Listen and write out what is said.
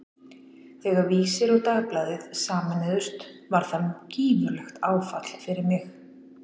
Þegar Vísir og Dagblaðið sameinuðust var það gífurlegt áfall fyrir mig.